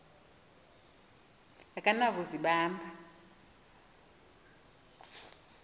akaba na kuzibamba